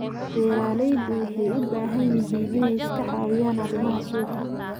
Beeraleydu waxay u baahan yihiin inay iska caawiyaan arrimaha suuqa.